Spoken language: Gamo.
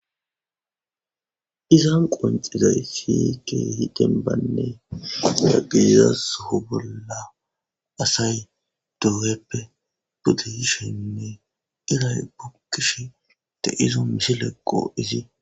iza qoncizay siyike hidenbaynne nagiizas ho bolla asay doweppe budeishenne iray bukkish te izo misileqqo izi